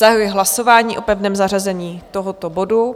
Zahajuji hlasování o pevném zařazení tohoto bodu.